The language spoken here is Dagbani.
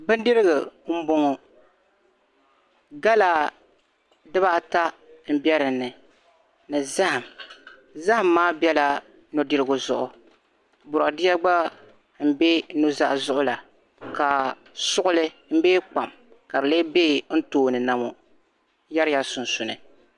Bindirigu m bɔŋɔ gala dibaata n bɛ dini ni zahim zahim maa bɛla nudirigu zuɣu bɔdeeya gba bɛ nuzaa zuɣu la ka suɣili bee kpam be n tooni na ŋɔ nyɛrila sunsuuni